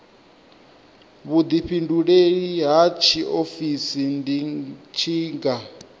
vhuḓifhinduleli ha tshiofisi ndi tshiga